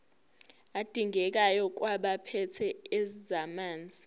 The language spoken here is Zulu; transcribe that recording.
adingekayo kwabaphethe ezamanzi